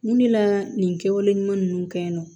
Mun de la nin kɛwale ɲuman ninnu kɛ yen nɔ